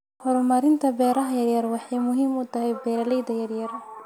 Horumarinta beeraha yaryar waxay muhiim u tahay beeralayda yaryar.